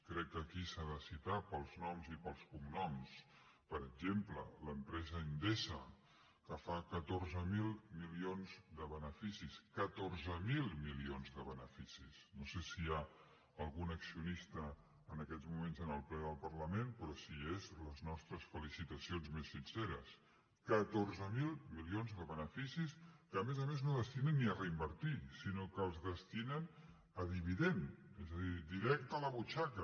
crec que aquí s’ha de citar pels noms i pels cognoms per exemple l’empresa endesa que fa catorze mil milions de beneficis catorze mil milions de beneficis no sé si hi ha algun accionista en aquests moments en el ple del parlament però si hi és les nostres felicitacions més sinceres catorze mil milions de beneficis que a més a més no destinen ni a reinvertir sinó que els destinen a dividend és a dir directe a la butxaca